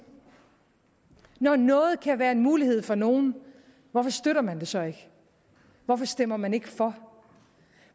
når noget kan være en mulighed for nogle hvorfor støtter man det så ikke hvorfor stemmer man ikke for